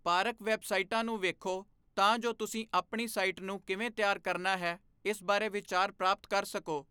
Park ਵੈੱਬਸਾਈਟਾਂ ਨੂੰ ਵੇਖੋ ਤਾਂ ਜੋ ਤੁਸੀਂ ਆਪਣੀ ਸਾਈਟ ਨੂੰ ਕਿਵੇਂ ਤਿਆਰ ਕਰਨਾ ਹੈ ਇਸ ਬਾਰੇ ਵਿਚਾਰ ਪ੍ਰਾਪਤ ਕਰ ਸਕੋ।